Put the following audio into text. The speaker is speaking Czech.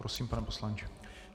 Prosím, pane poslanče.